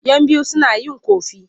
Yan biyu suna yin ƙofi.